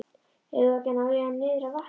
Eigum við ekki að ná í hann niður að vatni?